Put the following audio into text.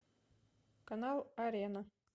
канал арена